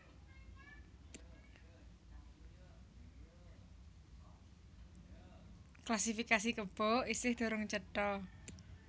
Klasifikasi kebo isih durung cetha